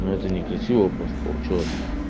но это некрасиво просто получилось